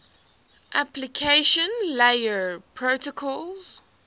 application layer protocols